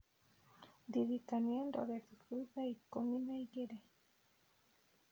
Ndirikania ndore thufu thaa ikũmi na igĩrĩ